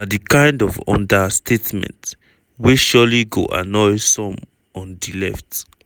na di kind of understatement wey surely go annoy some on di left.